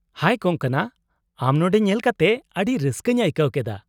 -ᱦᱟᱭ ᱠᱚᱝᱠᱚᱱᱟ, ᱟᱢ ᱱᱚᱸᱰᱮ ᱧᱮᱞ ᱠᱟᱛᱮ ᱟᱹᱰᱤ ᱨᱟᱹᱥᱠᱟᱹᱧ ᱟᱹᱭᱠᱟᱹᱣ ᱠᱮᱫᱟ ᱾